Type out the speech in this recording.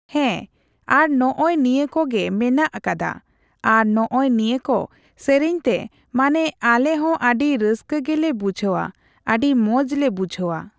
ᱦᱮᱸ, ᱟᱨ ᱱᱚᱜᱼᱚᱭ ᱱᱤᱭᱟᱹᱠᱚᱜᱮ ᱢᱮᱱᱟᱜ ᱠᱟᱫᱟ᱾ ᱟᱨ ᱱᱚᱜᱼᱚᱭ ᱱᱤᱭᱟᱹ ᱠᱚ ᱥᱮᱨᱮᱧ ᱛᱮ ᱢᱟᱱᱮ ᱟᱞᱮ ᱦᱚᱸ ᱟᱹᱰᱤ ᱨᱟᱹᱥᱠᱟᱹ ᱜᱮᱞᱮ ᱵᱩᱡᱷᱟᱹᱣᱟ, ᱟᱹᱰᱤ ᱢᱚᱸᱡ ᱞᱮ ᱵᱩᱡᱷᱟᱹᱣᱟ ᱾